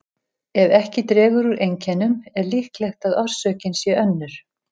Ef ekki dregur úr einkennum er líklegt að orsökin sé önnur.